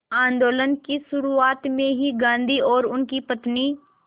आंदोलन की शुरुआत में ही गांधी और उनकी पत्नी